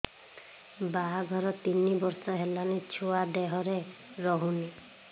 ବାହାଘର ତିନି ବର୍ଷ ହେଲାଣି ଛୁଆ ଦେହରେ ରହୁନି